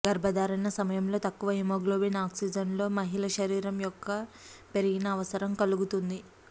గర్భధారణ సమయంలో తక్కువ హిమోగ్లోబిన్ ఆక్సిజన్ లో మహిళా శరీరం యొక్క పెరిగిన అవసరం కలుగుతుంది